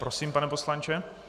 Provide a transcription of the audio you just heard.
Prosím, pane poslanče.